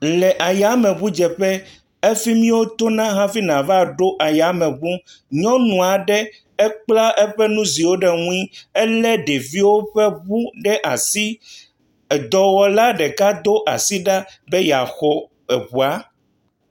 Le ayameʋu dzeƒe. Efima wotɔ na hafi na va ɖo ayameʋu. Nyɔnu aɖe ekpla eƒe nuziwo ɖe ŋuie. Le ɖewo ƒe ʋu ɖe asi. Edɔwɔla ɖeka do asi ɖa be ya xɔ eʋua.